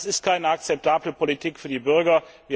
Das ist keine akzeptable Politik für die Bürger.